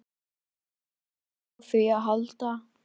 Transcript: Þarf ekki á því að halda.